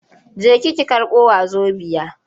Jeki ki karɓo wazobiya!